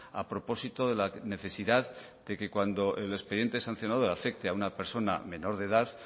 a propósito de la necesidad de que cuando el expediente sancionador afecte a una persona menor de edad